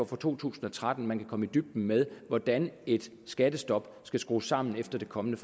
for to tusind og tretten at man kan komme i dybden med hvordan et skattestop skal skrues sammen efter det kommende